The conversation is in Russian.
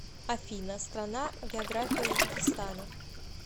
афина страна география узбекистана